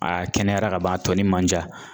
Aa kɛnɛyara ka ban a tɔnin man ca